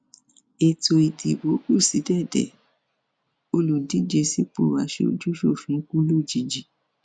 ètò ìdìbò kù sí dédé olùdíje sípò aṣojúṣòfin kù lójijì